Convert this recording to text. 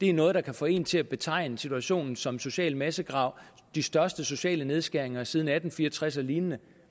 er noget der kan få en til at betegne situationen som social massegrav og de største sociale nedskæringer siden atten fire og tres og lignende